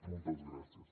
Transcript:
moltes gràcies